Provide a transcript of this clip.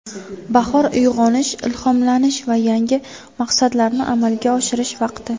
Bahor uyg‘onish, ilhomlanish va yangi maqsadlarni amalga oshirish vaqti!